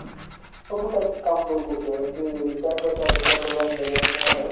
ସବୁ type କାମ କରୁଥିବେ ଏମିତି bat କାହାକୁ ଦରକାର ଥିବେ ବୋଲି ଆଣିଦେବେ ମାନେ ନାହିଁ